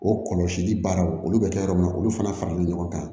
O kɔlɔsili baaraw olu bɛ kɛ yɔrɔ min na olu fana faralen don ɲɔgɔn kan